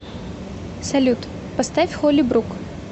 салют поставь холли брук